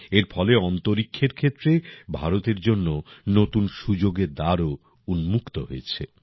এর ফলে অন্তরীক্ষের ক্ষেত্রে ভারতের জন্য নতুন সুযোগের দ্বারও উন্মুক্ত হয়েছে